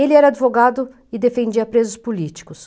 Ele era advogado e defendia presos políticos.